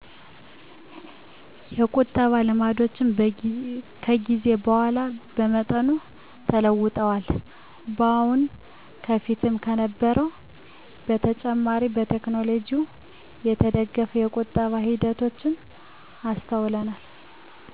የቁጠባ ልማዶችዎ ከጊዜ በኋላ በመጠኑ ተለውጠዋል። አሁን ከበፊቱ ከነበረዉ በተጨማሬ በቴከኖሎጅው የተደገፈ የቁጠባ ሂደቶች አሰተውለናል።